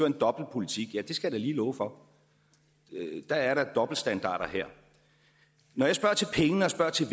en dobbeltpolitik ja det skal jeg da lige love for der er da dobbeltstandarder her når jeg spørger til pengene og spørger til